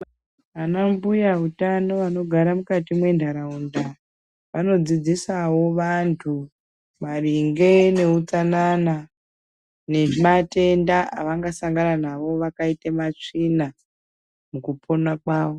Anambuya eutano anogara mukati mwenharaunda anodzidzisawo vantu maringe neutsanana nematenda avangasangana navo vakaite matsvina mukupona kwavo.